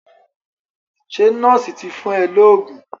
Ṣé nọ́ọ̀sì ti fún ẹ lóògùn?